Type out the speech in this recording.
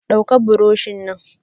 Dauka buroshi nan!